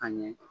Ka ɲɛ